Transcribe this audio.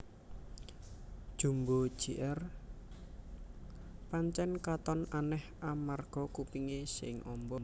Jumbo Jr pancèn katon anèh amarga kupingé sing amba